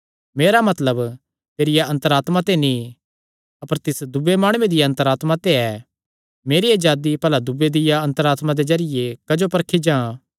मेरा मतलब तेरिया अन्तर आत्मा ते नीं अपर तिस दूये माणुये दिया अन्तर आत्मा ते ऐ मेरी अजादी भला दूये दिया अन्तर आत्मा दे जरिये क्जो परखी जां